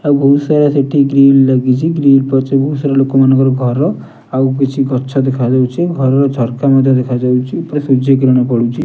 ଆଉ ବହୁତ ସାରା ସେଠି ଗ୍ରିଲ୍ ଲାଗିଚି। ଗ୍ରିଲ୍ ପଛକୁ ସେଟା ଲୋକମାନଙ୍କ ଘର ଆଉ କିଛି ଗଛ ଦେଖାଯାଉଚି। ଘରର ଝରକା ମଧ୍ୟ ଦେଖାଯାଉଚି ପୁରା ସୂର୍ଯ୍ୟକିରଣ ପଡୁଚି।